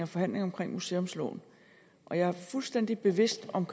forhandlingerne om museumsloven jeg er fuldstændig bevidst om